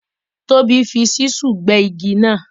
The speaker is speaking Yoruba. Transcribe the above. Tobi fi Ṣísù gbé igi náà